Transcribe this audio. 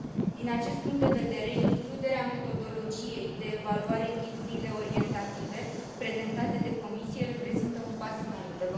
Din acest punct de vedere, includerea metodologiei de evaluare în ghidurile orientative, prezentate de Comisie, reprezintă un pas înainte.